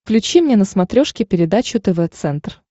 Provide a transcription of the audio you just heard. включи мне на смотрешке передачу тв центр